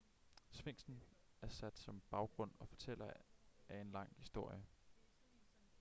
sfinksen er sat som baggrund og fortæller af en lang historie